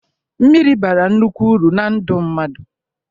Mmiri bara nnukwu uru na ndụ mmadụ.